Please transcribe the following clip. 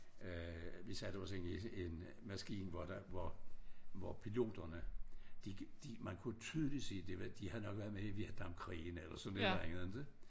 Øh vi satte os ind i et en maskine hvor der hvor hvor piloterne de de man kunne tydeligt se de havde nok været med i Vietnamkrigen eller sådan et eller andet ikke